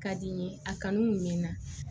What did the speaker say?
Ka di n ye a kanu kun bɛ n na